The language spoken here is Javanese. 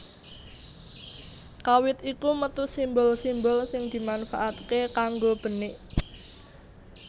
Kawit iku metu simbol simbol sing dimanfaatake kanggo benik